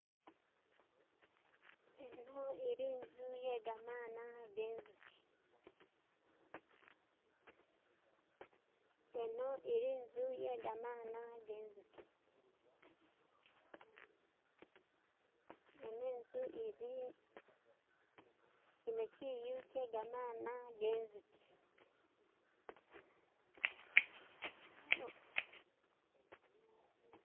Eno ili'nzu iyegamaana genzuki. Eno ili'nzu iyegamaana genzuki. Eno inzu ili, kino kiyu kye gamaana genzuki